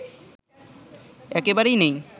একবারেই নেই